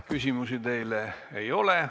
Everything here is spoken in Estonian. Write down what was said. Küsimusi teile ei ole.